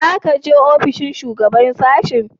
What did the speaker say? Za ka je ofishin shugaban sashen?